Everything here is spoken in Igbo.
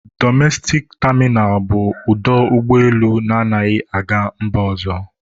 Dọmestik tamịnal bụ ọdọ ụgbọelu na-adighị aga mba ọzọ.